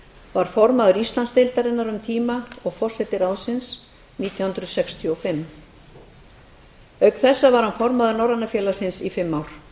var formaður íslandsdeildarinnar um tíma og forseti ráðsins nítján hundruð sextíu og fimm auk þessa var hann formaður norræna félagsins í fimm ár